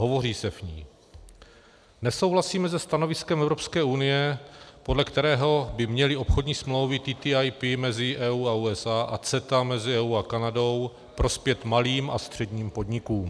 Hovoří se v ní: "Nesouhlasíme se stanoviskem Evropské unie, podle kterého by měly obchodní smlouvy TTIP mezi EU a USA a CETA mezi EU a Kanadou prospět malým a středním podnikům.